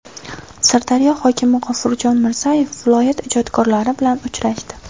Sirdaryo hokimi G‘ofurjon Mirzayev viloyat ijodkorlari bilan uchrashdi.